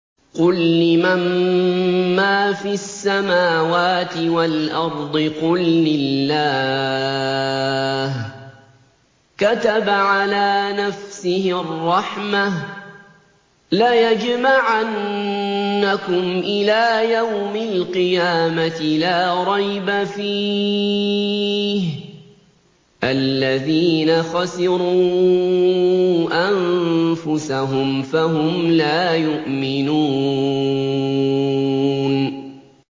قُل لِّمَن مَّا فِي السَّمَاوَاتِ وَالْأَرْضِ ۖ قُل لِّلَّهِ ۚ كَتَبَ عَلَىٰ نَفْسِهِ الرَّحْمَةَ ۚ لَيَجْمَعَنَّكُمْ إِلَىٰ يَوْمِ الْقِيَامَةِ لَا رَيْبَ فِيهِ ۚ الَّذِينَ خَسِرُوا أَنفُسَهُمْ فَهُمْ لَا يُؤْمِنُونَ